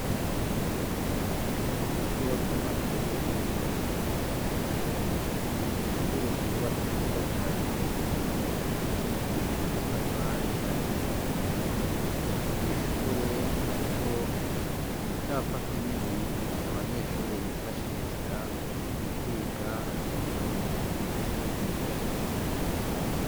Mu kigo c'amashuri matomato ishure ryubatse neza cane ryubakishije amatafari ahiye mwishure hariho icapa kinini abanyeshuri bifashisha mu kwiga indome.